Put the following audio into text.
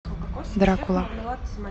дракула